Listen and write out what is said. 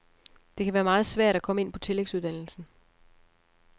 Det kan være meget svært at komme ind på tillægsuddannelsen.